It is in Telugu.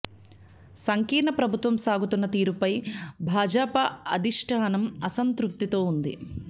సంకీర్ణ ప్రభుత్వం సాగుతున్న తీరుపై భాజాపా అధిష్టానం అసంతృప్తితో ఉంది